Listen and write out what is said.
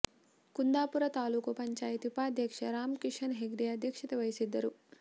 ಕುಂದಾಪುರ ತಾಲೂಕು ಪಂಚಾಯಿತಿ ಉಪಾಧ್ಯಕ್ಷ ರಾಮ್ ಕಿಶನ್ ಹೆಗ್ಡೆ ಅಧ್ಯಕ್ಷತೆ ವಹಿಸಿದ್ದರು